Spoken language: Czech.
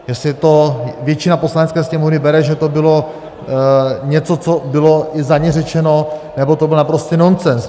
Jestli to většina Poslanecké sněmovny bere, že to bylo něco, co bylo i za ně řečeno, nebo to byl naprostý nonsens.